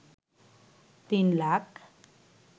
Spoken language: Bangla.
৩ লাখ